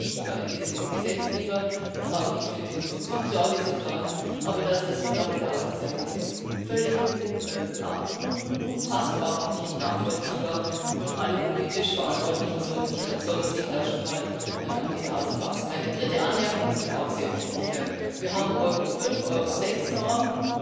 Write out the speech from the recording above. Ich glaube nicht, denn wir sind Gesetzgeber und haben nicht für den Vollzug Sorge zu tragen. Aber dass das so lange dauert, ist eigentlich völlig unfassbar und nicht nachvollziehbar. Alle politisch Verantwortlichen sollten sich da schon mal an die eigene Nase fassen. Meine dritte Anmerkung ist mir auch sehr wichtig Wir haben Euro 5 Euro 6